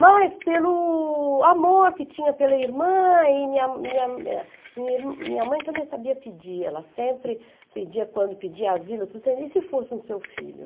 Mas pelo amor que tinha pela irmã, e minha minha eh minha mãe também sabia pedir, ela sempre pedia quando pedia asilo, e se fosse um seu filho?